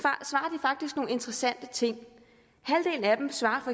faktisk nogle interessante ting halvdelen af dem svarer